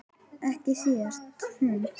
Ekki síst hún.